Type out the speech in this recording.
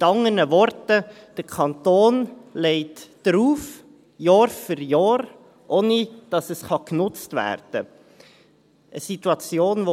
Mit anderen Worten: Der Kanton legt drauf, Jahr für Jahr, ohne dass es genutzt werden kann.